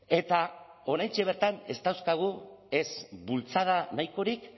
eta oraintxe bertan ez dauzkagu ez bultzada nahikorik